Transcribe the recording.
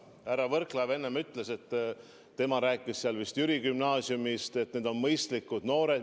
Härra Võrklaev enne rääkis vist Jüri Gümnaasiumist ja kinnitas, et need on mõistlikud noored.